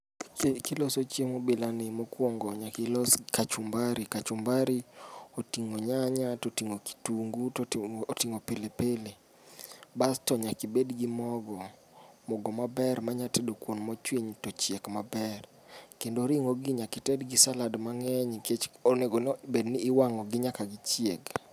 Pile kiloso chiemo bilani, mokuongo nyaka ilos kachumbari. Kachumbari oting'o nyanya, to oting'o kitungu, to oting'o pili pili. Bas to nyaka ibed gi mogo, mogo maber manya tedo kuon mochwiny to ochiek maber. Kendo ring'ogi nyaka ited gi salad mang'eny, nikech onego bed ni iwang'ogi nyaka gichieg.